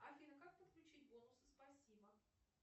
афина как подключить бонусы спасибо